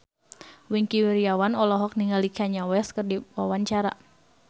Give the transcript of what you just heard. Wingky Wiryawan olohok ningali Kanye West keur diwawancara